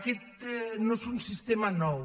aquest no és un sistema nou